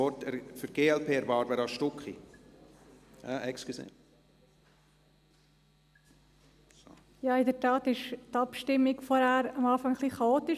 In der Tat war die Abstimmung vorhin am Anfang ein wenig chaotisch.